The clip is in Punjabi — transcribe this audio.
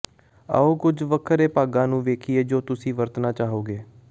ਆਓ ਕੁਝ ਵੱਖਰੇ ਭਾਗਾਂ ਨੂੰ ਵੇਖੀਏ ਜੋ ਤੁਸੀਂ ਵਰਤਣਾ ਚਾਹੋਗੇ